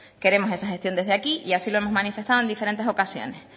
queremos esta gestión desde aquí y así lo hemos manifestado en diferentes ocasiones